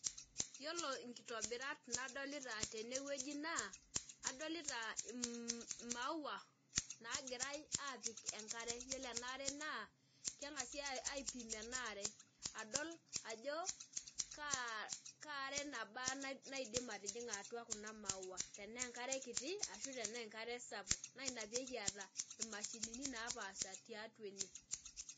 Yiolo nkitobirat nadolita tenewueji naa adolita mmmh imaua nagirae apik enkare, yiolo eniare naa keng'asi aipim enaare adol ajo kaa kaa are nabaa naidim atijinga atua kuna maua tenaa enkare kiti ashu tenaa enkare sapuk naa inapekiata imashinini napaasha tiatua ene.